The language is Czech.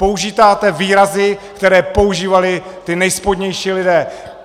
Používáte výrazy, které používali ti nejspodnější lidé.